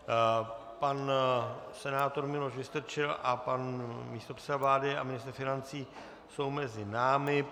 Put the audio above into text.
Pan senátor Miloš Vystrčil a pan místopředseda vlády a ministr financí jsou mezi námi.